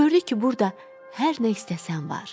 Gördü ki, burda hər nə istəsən var.